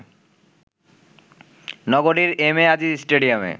নগরীর M A Aziz স্টেডিয়ামে